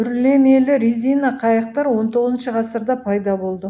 үрлемелі резина қайықтар он тоғызыншы ғасырда пайда болды